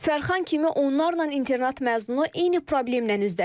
Fərxan kimi onlarla internat məzunu eyni problemlə üzləşir.